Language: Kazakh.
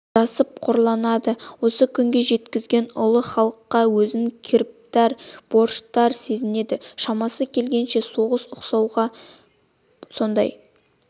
жасып қорланады осы күнге жеткізген ұлы халыққа өзін кіріптар борыштар сезінеді шамасы келгенше соған ұқсауға сондай